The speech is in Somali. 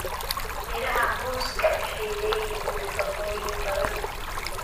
Midhaha muuska waxay leeyihiin nafaqooyin badan.